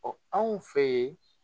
Ɔ anw fe yen